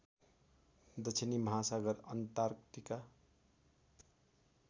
दक्षिणी महासागर अन्टार्कटिका